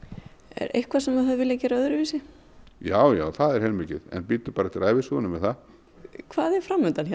er eitthvað sem þú hefðir viljað gera öðruvísi já já það er heilmikið en bíddu bara eftir ævisögunni með það hvað er fram undan hjá